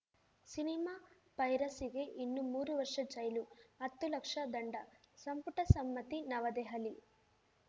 cinema ಪೈರಸಿಗೆ ಇನ್ನು ಮೂರು ವರ್ಷ ಜೈಲು ಹತ್ತು ಲಕ್ಷ ದಂಡ ಸಂಪುಟ ಸಮ್ಮತಿ ನವದೆಹಲಿ